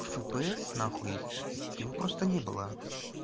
фпс на хуй его просто не было